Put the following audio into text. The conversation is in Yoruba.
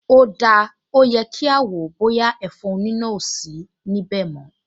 O dáa, ó yẹ kí a wò ó bóyá ẹ̀fọn oníná ò sí níbẹ̀ mọ́